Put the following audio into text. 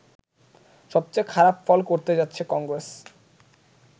সবচেয়ে খারাপ ফল করতে যাচ্ছে কংগ্রেস